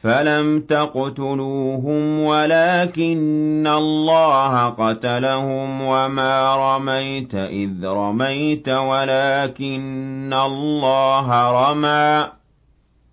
فَلَمْ تَقْتُلُوهُمْ وَلَٰكِنَّ اللَّهَ قَتَلَهُمْ ۚ وَمَا رَمَيْتَ إِذْ رَمَيْتَ وَلَٰكِنَّ اللَّهَ رَمَىٰ ۚ